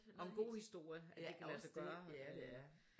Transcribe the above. Og en god historie at det kan lade sig gøre